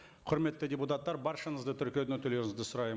құрметті депутаттар баршаңызды тіркеуден өтулеріңізді сұраймын